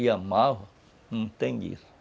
E a malva não tem isso.